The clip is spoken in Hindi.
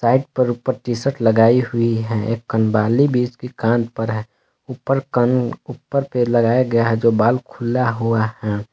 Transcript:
ऊपर टी शर्ट लगाई हुयी है एक कनबालि भी इसकी कान पर है ऊपर कण ऊपर पे लगाया गया है जो बाल खुला हुआ है।